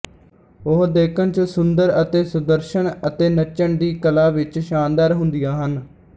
ਉਹ ਦੇਖਣ ਚ ਸੁੰਦਰ ਅਤੇ ਸੁਦਰਸ਼ਨ ਅਤੇ ਨੱਚਣ ਦੀ ਕਲਾ ਵਿੱਚ ਸ਼ਾਨਦਾਰ ਹੁੰਦੀਆਂ ਹਨ